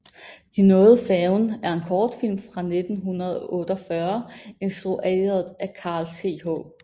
De nåede færgen er en kortfilm fra 1948 instrueret af Carl Th